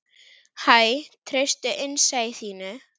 Hæ, treystu innsæi þínu.